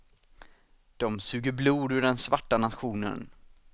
De suger blod ur den svarta nationen.